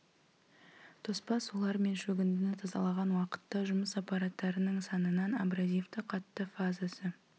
тоспа сулар мен шөгіндіні тазалаған уақытта жұмыс аппараттарының санынан абразивті қатты фазасы